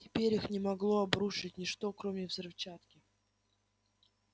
теперь их не могло обрушить ничто кроме взрывчатки